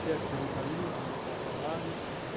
chefe de alimentaria, ganhando um bom salário.